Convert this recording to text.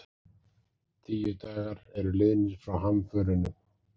Tíu dagar eru liðnir frá hamförunum